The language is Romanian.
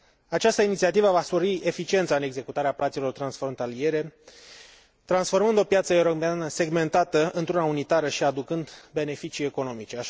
Această inițiativă va spori eficiența în executarea plăților transfrontaliere, transformând o piață europeană segmentată într una unitară și aducând beneficii economice.